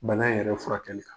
Bana yɛrɛ furakɛli kan.